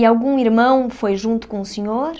E algum irmão foi junto com o senhor?